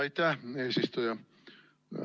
Aitäh, eesistuja!